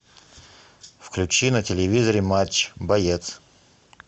включи на телевизоре матч боец